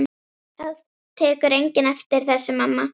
Það tekur enginn eftir þessu, mamma.